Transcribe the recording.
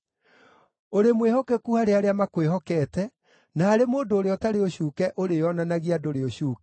“Ũrĩ mwĩhokeku harĩ arĩa makwĩhokete, na harĩ mũndũ ũrĩa ũtarĩ ũcuuke ũrĩĩonanagia ndũrĩ ũcuuke,